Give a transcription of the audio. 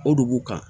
O dugu kan